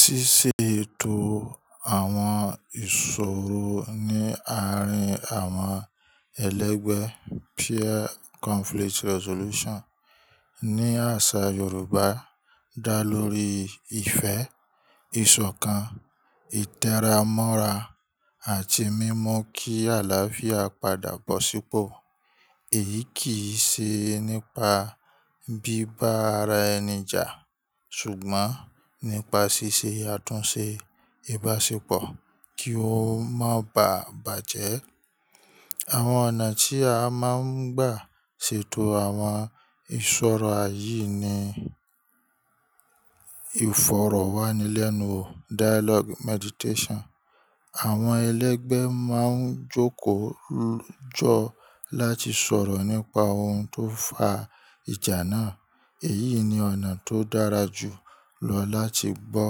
Ṣíṣe ètò àwọn ìṣòro ní àárín àwọn ẹlẹgbẹ́ ní àṣà Yorùbá dá lórí ìfẹ́, ìṣọ̀kan, ìtẹra mọ́ra àti mímú kí àlàáfíà padà bọ̀ sípò. Èyí kì í ṣe nípa bíbá ara ẹni jà ṣùgbọ́n nípa ṣíṣe àtúnṣe ìbáṣepọ̀ kí ó má bà bàjẹ́. Àwọn ọ̀nà tí a máa ń gbà ṣètò àwọn ìṣòro yìí ni: ìfọ̀rọ̀wánilẹ́nuwò: àwọn ẹlẹgbẹ́ máa ń jókòó jọ láti sọ̀rọ̀ nípa ohun tó fa ìjà náà. Èyí ni ọ̀nà tó dára jù lọ láti gbọ́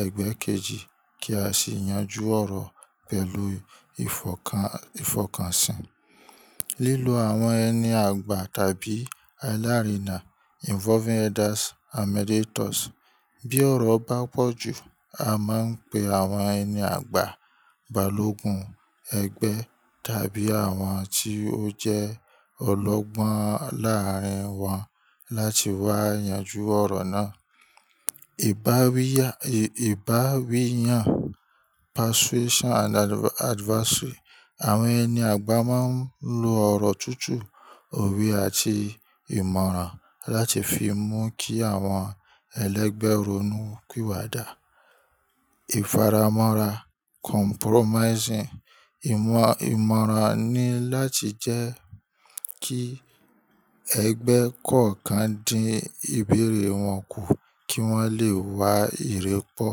ẹgbẹ́ kejì kí a sì yanjú ọ̀rọ̀ pẹ̀lú ìfọkànsìn. Lílo àwọn ẹni àgbà tàbí alárìnà: bí ọ̀rọ̀ bá pọ̀ jù, a máa ń pe àwọn ẹni àgbà, balógun ẹgbẹ́ tàbí àwọn tí ó jẹ́ ọlọ́gbọ́n láàárín wọn láti wá yanjú ọ̀rọ̀ náà. Ìbáwí yàn: àwọn ẹni àgbà máa ń lo ọ̀rọ̀ tútù, òwe àti ìmọ̀ràn láti fi mú kí àwọn ẹlẹgbẹ́ ronú píwàdà. Ìfaramọ́ra: ìmọ̀ràn ni láti jẹ́ kí ẹgbẹ́ kọ̀ọ̀kan dín ìbẹ̀rẹ̀ wọn kù kí wọ́n lè wá ìrẹ́pọ̀.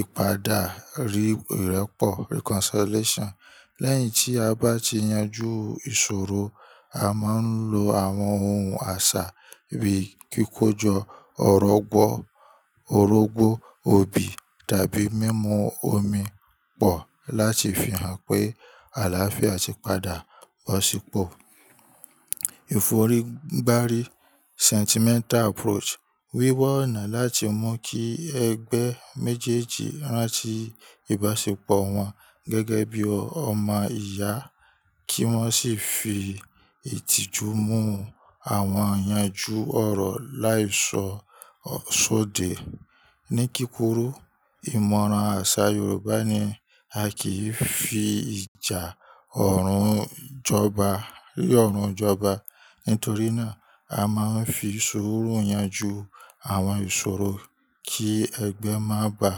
Ìpadàrí ìrẹ́pọ̀: lẹ́yìn tí a bá ti yanjú ìṣòro, a máa ń lo àwọn ohun àṣà bíi kíkójọ, ọ̀rọ̀gbó, obì tàbí mímu omi pọ̀ láti fi hàn pé àlàáfíà ti padà bọ̀ sípò. Ìforígbárí: wíwá ọ̀nà láti mú kí ẹgbẹ́ méjèèjì rántí ìbáṣepọ̀ wọn gẹ́gẹ́ bí ọmọ ìyá kí wọ́n sì fi ìtìjú mú àwọn yanjú ọ̀rọ̀ láì sọ sóde. Ní kíkúrú, ìmọ̀ràn àṣà Yorùbá ni a kì í fi ìjà ọ̀run jọba. Nítorí náà, a máa ń fi sùúrù yanjú àwọn ìṣòro kí ẹgbẹ́ má bà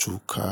tuka.